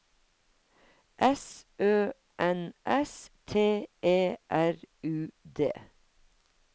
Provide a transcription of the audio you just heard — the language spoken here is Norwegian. S Ø N S T E R U D